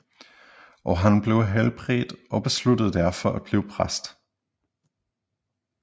Og han blev helbredt og besluttede derfor at blive præst